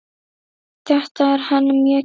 Þetta er henni mjög kært.